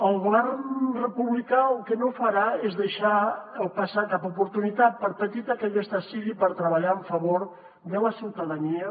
el govern republicà el que no farà és deixar passar cap oportunitat per petita que aquesta sigui per treballar a favor de la ciutadania